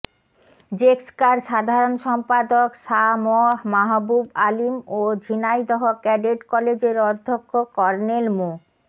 জেক্সকার সাধারণ সম্পাদক সা ম মাহবুব আলীম ও ঝিনাইদহ ক্যাডেট কলেজের অধ্যক্ষ কর্নেল মো